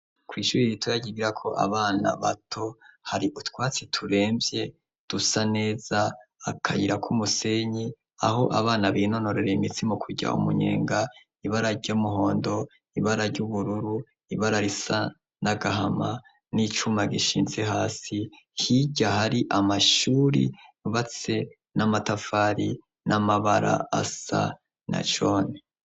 kuw'ishure ritoya ryigirako abana bato hari utwatsi turemvye dusa neza akayira k'umusenyi aho abana binonorera imitsi mu kurya umunyenga ibararyomuhondo ibara ry'ubururu ibara risa n'agahama n'icuma gishinze hasi hijya hari amashuri yubatse n'amatafari n'amabara asa na jone